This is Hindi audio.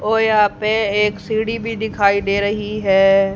और यहां पे एक सीढ़ी भी दिखाई दे रही है।